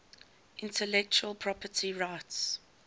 intellectual property rights